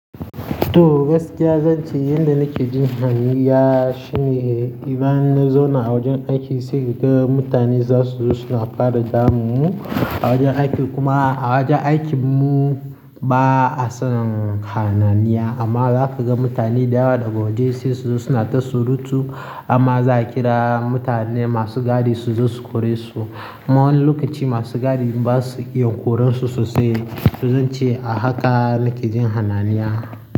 To gaskiya zan ce yanda nake jin hanniya shine idan na zauna a wajen aiki sai ka ga mutane za su zo suna fara damun mu a wajen aiki kuma a wajen aikin mu ba a san hayaniya amma za ka ga mutane da yawa daga waje sai su zo suna ta surutu amma za a kira mutane masu gadi su zo su kore su. Ma wani lokaci masu gadi ba su iya koransu sosai to zan ce a haka nake jin hayaniya.